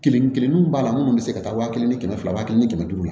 Kelen kelennu b'a la munnu be se ka taa wa kelen ni kɛmɛ fila wa kelen ni kɛmɛ duuru